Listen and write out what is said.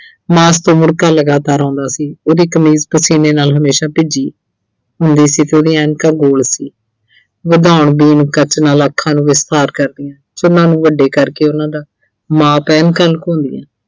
ਮਾਸ ਤੋਂ ਮੁੜ੍ਹਕਾ ਲਗਾਤਾਰ ਆਉਂਦਾ ਸੀ। ਉਹਦੀ ਕਮੀਜ਼ ਪਸੀਨੇ ਨਾਲ ਹਮੇਸ਼ਾ ਭਿੱਜੀ ਹੁੰਦੀ ਸੀ ਤੇ ਉਹਦੀਆਂ ਐਨਕਾਂ ਗੋਲ ਸੀ। ਅੱਖਾਂ ਨੂੰ ਕਰਦੀਆਂ ਸੋ ਉਹਨਾਂ ਨੂੰ ਵੱਡੇ ਕਰਕੇ ਉਹਨਾਂ ਦਾ ਐਨਕਾਂ ਲੁਕਾਉਂਦੀਆਂ